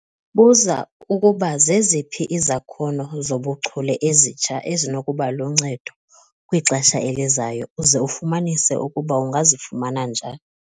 Buza ukuba zeziphi izakhono zobuchule ezitsha ezinokuba luncedo kwixesha elizayo uze ufumanise ukuba ungazifumana njani.